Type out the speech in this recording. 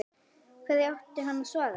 Hverju átti hann að svara?